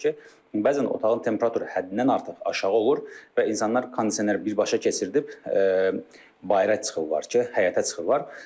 bəzən otağın temperaturu həddindən artıq aşağı olur və insanlar kondisioner birbaşa keçirdib bayıra çıxırlar ki, həyətə çıxırlar.